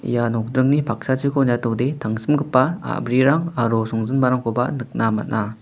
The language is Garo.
ia nokdringni paksachiko niatode tangsimgipa a·brirang aro songjinmarangkoba nikna man·a.